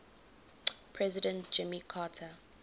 president jimmy carter